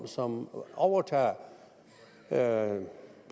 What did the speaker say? som overtager sagerne